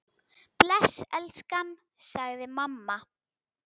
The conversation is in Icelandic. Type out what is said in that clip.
Bless elskan! sagði mamma.